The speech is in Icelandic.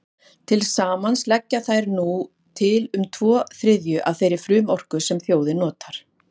Til samans leggja þær nú til um tvo þriðju af þeirri frumorku sem þjóðin notar.